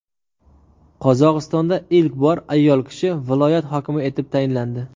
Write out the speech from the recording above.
Qozog‘istonda ilk bor ayol kishi viloyat hokimi etib tayinlandi.